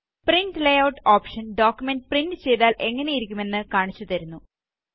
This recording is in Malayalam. print layout option document print ചെയ്താല് എങ്ങനെയിരിക്കും എന്ന് കാണിച്ച് തരുന്നു